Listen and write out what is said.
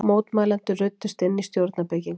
Mótmælendur ruddust inn í stjórnarbyggingar